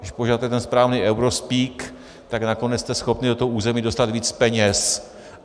Když používáte ten správný eurospeek, tak nakonec jste schopni do toho území dostat víc peněz.